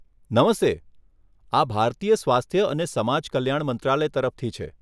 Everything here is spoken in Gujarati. નમસ્તે! આ ભારતીય સ્વાસ્થ્ય અને સમાજ કલ્યાણ મંત્રાલય તરફથી છે.